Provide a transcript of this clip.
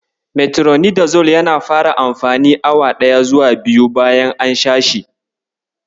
Metironidazol yana fara amfani awa ɗaya zuwa biyu bayan an sha shi.